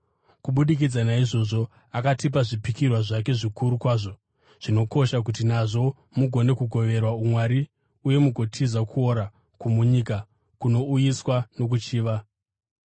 Kubudikidza naizvozvo, akatipa zvipikirwa zvake zvikuru kwazvo zvinokosha kuti nazvo, mugone kugoverwa umwari uye mugotiza kuora kwomunyika kunouyiswa nokuchiva.